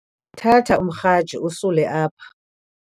thatha umrhaji usule apha